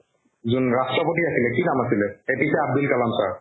যোন ৰাষ্ট্ৰপতি আছিলে কি নাম আছিলে A P J Abdul Kalam sir